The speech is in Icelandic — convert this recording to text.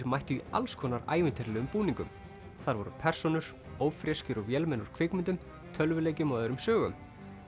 mættu í alls konar ævintýralegum búningum þar voru persónur ófreskjur og vélmenni úr kvikmyndum tölvuleikjum og öðrum sögum